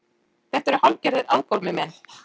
Þetta eru hálfgerðir aðkomumenn